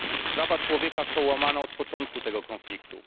Prawa człowieka są łamane od początku tego konfliktu.